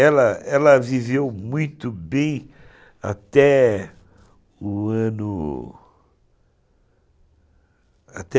Ela ela viveu muito bem até o ano... Até